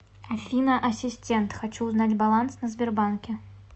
афина ассистент хочу узнать баланс на сбербанке